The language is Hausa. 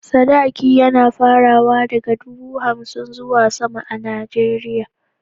Sadaki yAna farawa daka dubu hamsin zuwa sama a nigeria